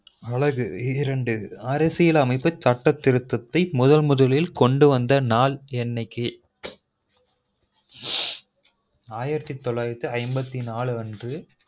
அலகு இரெண்டு அரசியலமைப்பு சட்டத்திருத்தத்தை முதன் முதலில் கொண்டு வந்த நாள் என்னைக்கு ஆயிரத்து தொளாயிரத்து ஐம்பத்தி நாலு அன்று